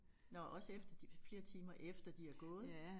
Nåh også efter de flere timer efter de er gået?